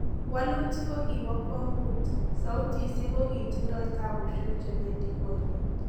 Walutik ko kibo kwongut , sautisiek kokitindoi taapusiek chependikoikeny